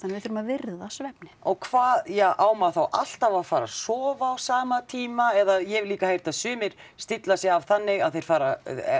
við þurfum að virða svefninn og hvað ja á maður þá alltaf að fara að sofa á sama tíma eða ég hef líka heyrt að sumir stilla sig af þannig að þeir fara